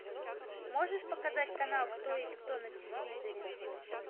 можешь показать канал кто есть кто на телевизоре